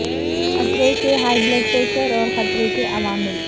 خطرے سے high blood pressure اور خطرے کے عوامل